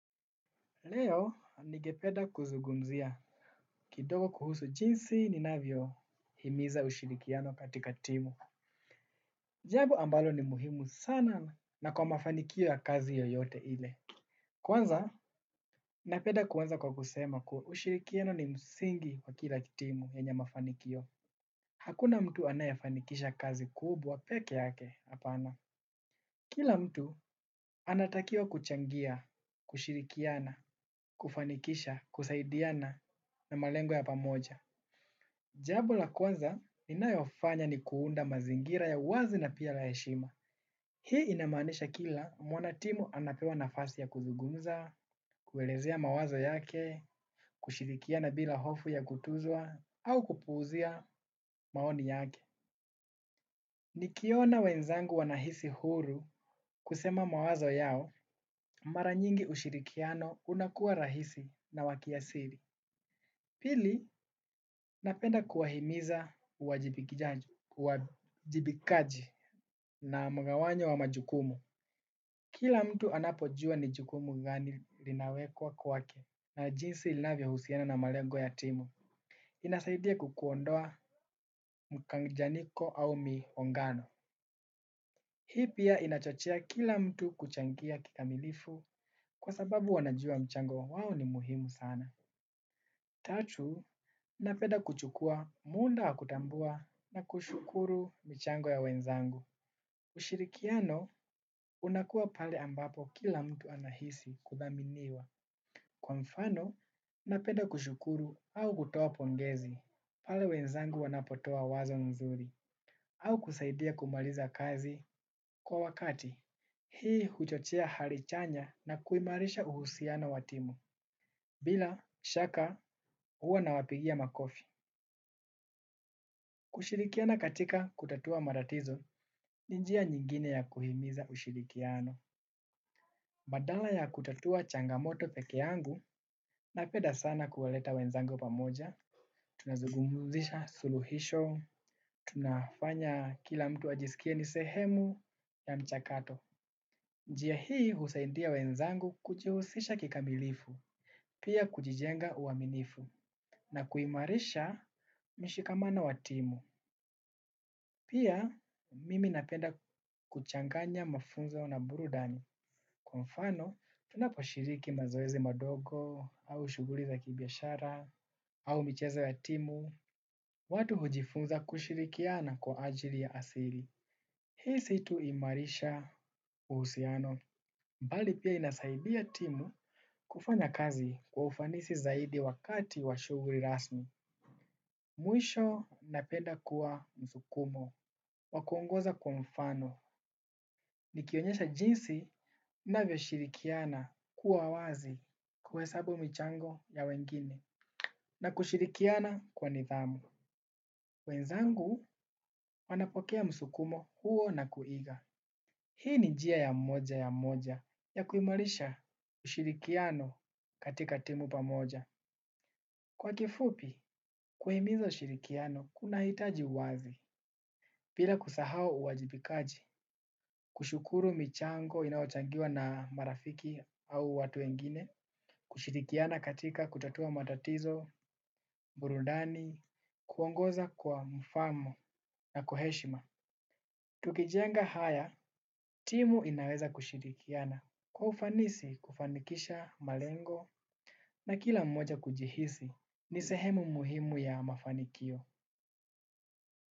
Leo ningependa kuzungumzia kidogo kuhusu jinsi ninavyo himiza ushirikiano katika timu jambo ambalo ni muhimu sana na kwa mafanikio ya kazi yoyote ile kwanza napenda kuanza kwa kusema kuwa ushirikiano ni msingi wa kila timu yenye mafanikio hakuna mtu anayefanikisha kazi kubwa peke yake hapana. Kila mtu anatakiwa kuchangia, kushirikiana, kufanikisha, kusaidiana na malengo ya pamoja. Jambo la kwanza ninayofanya ni kuunda mazingira ya uwazi na pia la heshima. Hii inamaanisha kila mwanatimu anapewa nafasi ya kuzungumza kuelezea mawazo yake kushirikiana bila hofu ya kutuzwa au kupuuzia maoni yake. Nikiona wenzangu wanahisi huru kusema mawazo yao mara nyingi ushirikiano unakuwa rahisi na wa kiasili. Pili napenda kuwahimiza uwajibikaji na mgawanyo wa majukumu. Kila mtu anapojua ni jukumu gani linawekwa kwake na jinsi linavyohusiana na malengo ya timu. Inasaidia kukuondoa mkanjanyiko au miongano. Hii pia inachochea kila mtu kuchangia kikamilifu kwa sababu wanajua mchango wao ni muhimu sana. Tatu, napenda kuchukua muda wa kutambua na kushukuru michango ya wenzangu. Ushirikiano, unakuwa pale ambapo kila mtu anahisi kudhaminiwa. Kwa mfano, napenda kushukuru au kutoa pongezi pale wenzangu wanapotoa wazo nzuri. Au kusaidia kumaliza kazi kwa wakati hii huchochea hali chanya na kuimarisha uhusiano wa timu. Bila shaka huwa nawapigia makofi. Kushirikiana katika kutatua matatizo ni njia nyingine ya kuhimiza ushirikiano. Badala ya kutatua changamoto peke yangu napenda sana kuwaleta wenzangu pamoja. Tunazungumzisha suluhisho. Tunafanya kila mtu ajisikie ni sehemu ya mchakato. Njia hii husaindia wenzangu kujuhusisha kikamilifu, pia kujijenga uaminifu, na kuimarisha mishikamano wa timu. Pia mimi napenda kuchanganya mafunzo na burudani. Kwa mfano, tunaposhiriki mazoezi madogo, au shughuli za kibiashara, au michezo ya timu, watu hujifunza kushirikiana kwa ajili ya asili. Hii si tu huimarisha uhusiano, mbali pia inasaidia timu kufanya kazi kwa ufanisi zaidi wakati wa shughuli rasmi. Mwisho napenda kuwa msukumo, wa kuongoza kwa mfano, nikionyesha jinsi ninavyo shirikiana kuwa wazi kuhesabu michango ya wengine, na kushirikiana kwa nidhamu. Wenzangu wanapokea msukumo huo na kuiga. Hii ni njia ya mmoja ya moja ya kuimarisha ushirikiano katika timu pamoja. Kwa kifupi, kuhimiza ushirikiano, kunahitaji uwazi. Bila kusahau uwajibikaji, kushukuru michango inayochangiwa na marafiki au watu wengine, kushirikiana katika kutatua matatizo, burudani, kuongoza kwa mfamo na kwa heshima. Tukijenga haya, timu inaweza kushirikiana kwa ufanisi kufanikisha malengo na kila mmoja kujihisi ni sehemu muhimu ya mafanikio.